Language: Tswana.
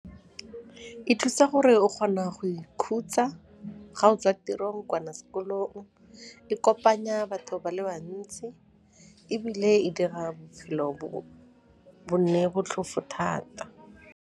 E thusa gore o kgona go ikhutsa ga o tswa tirong kana sekolong, e kopanya batho ba le bantsi ebile e dira bophelo bo nne botlhofo thata?